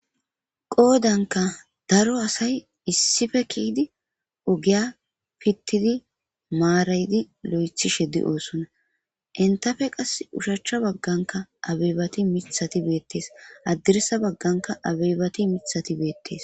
Qoodanka daro asay issife kiyydi ogiya pittidi maarayidi lo'ethi sheddi oosonna entafe qas ushachcha bagganka abebati mithati beettes addirsa bagganka abeybati mithati beettees.